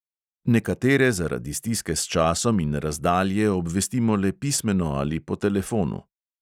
Nekatere zaradi stiske s časom in razdalje obvestimo le pismeno ali po telefonu.